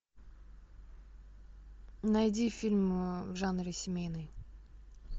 найди фильм в жанре семейный